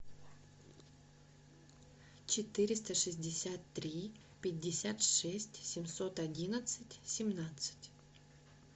четыреста шестьдесят три пятьдесят шесть семьсот одиннадцать семнадцать